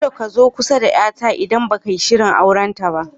Ka da ka zo kusa da yar ta, idan ba ka yi sirin aure ba.